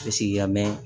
Sigiya mɛn